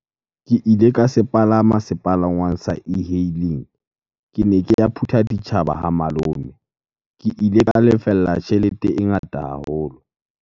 Ke ile ka se palama sepalangwang sa e-hailing. Kene ke ya Phuthaditjhaba ha malome. Ke ile ka lefella tjhelete e ngata haholo.